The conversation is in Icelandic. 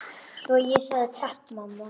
Svo ég segi: Takk mamma.